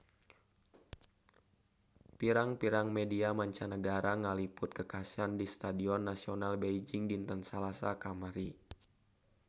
Pirang-pirang media mancanagara ngaliput kakhasan di Stadion Nasional Beijing dinten Salasa kamari